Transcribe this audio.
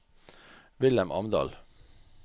Vilhelm Amdal